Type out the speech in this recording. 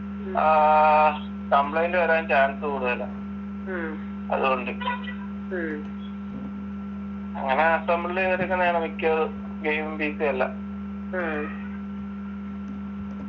ആഹ് complaint വരാൻ chance കൂടുതലാ അതുകൊണ്ട് അങ്ങനെ assemble ചെയ്തടുക്കുന്നതാണ് മിക്കവറും gamingPC എല്ലാം